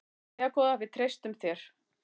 Jæja góða, við treystum þér.